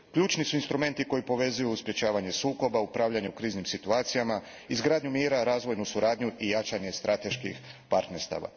Ključni su instrumenti koji povezuju sprečavanje sukoba, upravljanje u kriznim situacijama, izgradnju mira, razvojnu suradnju i jačanje strateških partnerstava.